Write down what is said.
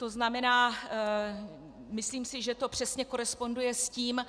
To znamená, myslím si, že to přesně koresponduje s tím,